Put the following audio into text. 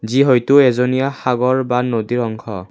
যি হয়টো এজনিয়া সাগৰ বা নদীৰ অংশ।